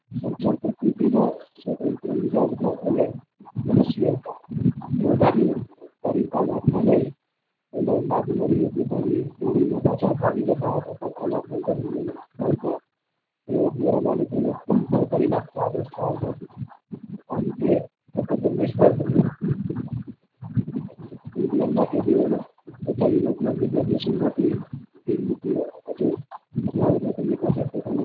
એ ગોરા માલિકો ના ખૂન પણ કરી નાખતા પણ તે તદ્દન નિષ્ફળ બન્યું indian માટે જે થતા એમના વિરોધ ના બીજા દેશો માંથી પ્રતિનિધિઓ